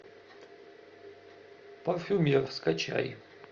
парфюмер скачай